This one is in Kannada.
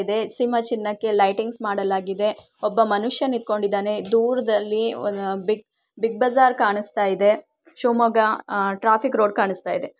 ಇದೆ ಸೀಮಾ ಸಿಂಹಕ್ಕೆ ಲೈಟಿಂಗ್ಸ್ ಮಾಡಲಾಗಿದೆ ಒಬ್ಬ ಮನುಷ್ಯ ನಿಂತ್ಕೊಂಡಿದ್ದಾನೆ ದೂರದಲ್ಲಿ ಬಿಗ್ ಬಜಾರ್ ಕಾಣಿಸ್ತಾ ಇದೆ ಶಿವಮೊಗ್ಗ ಟ್ರಾಫಿಕ್ ರೋಡ್ ಕಾಣಿಸ್ತಾ ಇದೆ